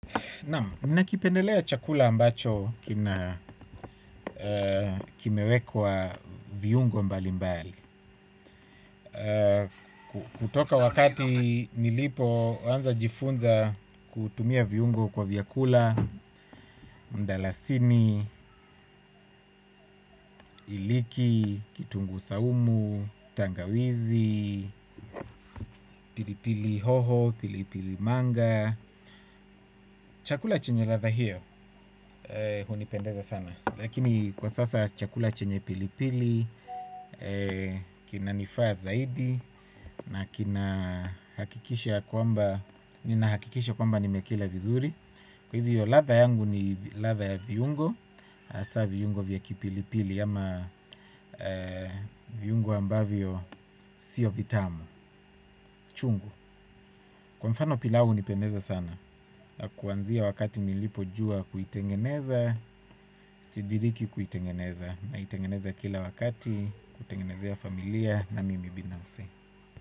Naam, nakipendelea chakula ambacho kimewekwa viungo mbali mbali. Kutoka wakati nilipoanza jifunza kutumia viungo kwa vyakula, mdalasini, iliki, kitungu saumu, tangawizi, pilipili hoho, pilipili manga. Chakula chenye ladha hiyo hunipendeza sana. Lakini kwa sasa chakula chenye pili pili kinanifaa zaidi. Na kina hakikisha kwamba nina hakikisha kwamba nimekila vizuri. Kwa hivyo ladha yangu ni ladha ya viungo. Hasa viungo vya kipilipili ama viungo ambavyo sio vitamu. Chungu. Kwa mfano pilau hunipendeza sana kuanzia wakati nilipojua kuitengeneza, sidiriki kuitengeneza. Naitengeneza kila wakati, kutengenezea familia na mimi binafsi.